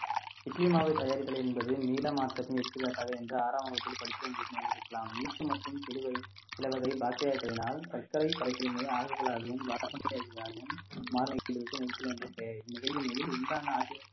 இட்லி மாவு தயாரித்தல் என்பது மீளா மாற்றத்தின் எடுத்துக்காட்டாக என்று ஆறாம் வகுப்பில் படிக்கவும் இருக்கலாம் ஈஸ்ட் மற்றும் சிலுவை சில வகை பாக்ட்ரியாகளினால் சர்க்கரை